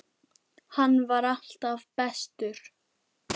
Hann var alltaf bestur.